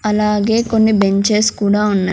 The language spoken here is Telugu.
అలాగే కొన్ని బెంచెస్ కూడా ఉన్నాయ్.